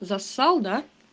засал да